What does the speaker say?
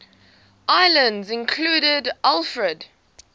islands included alfred